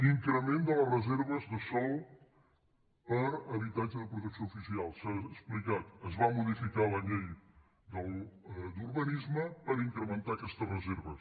increment de les reserves de sòl per a habitatge de protecció oficial s’ha explicat es va modificar la llei d’urbanisme per incrementar aquestes reserves